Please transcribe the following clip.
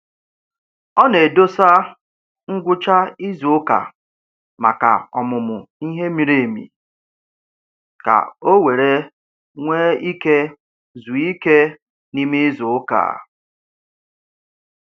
Ọ na-edosa ngwụcha izuụka maka ọmụmụ ihe miri emi ka o were nwee ike zuo ike n'ime izuụka.